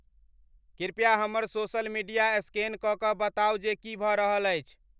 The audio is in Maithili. कृपया हमर सोशल मीडिया स्कैन क क बताउ जे की भ रहल अछि